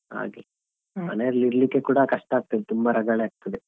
ಹಾಗೆ ಮನೆಯಲ್ಲಿ ಇರ್ಲಿಕ್ಕೆ ಕೂಡ ಕಷ್ಟ ಆಗ್ತದೆ ತುಂಬ ರಗಳೆ ಆಗ್ತದೆ.